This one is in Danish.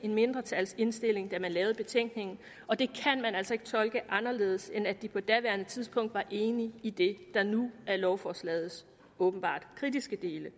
en mindretalsindstilling da de lavede betænkningen og det kan man altså ikke tolke anderledes end at de på daværende tidspunkt var enige i det der nu er lovforslaget åbenbart kritiske dele